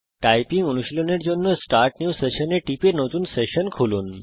typing অনুশীলনের জন্য start new session এ টিপে নতুন সেশন খুলুন